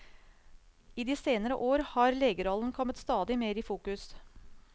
I de senere år har legerollen kommet stadig mer i fokus.